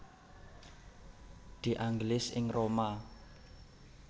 De Angelis ing Roma